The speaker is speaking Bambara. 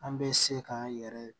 An bɛ se k'an yɛrɛ